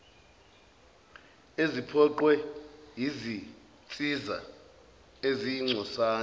eziphoqwe yizinsiza eziyingcosana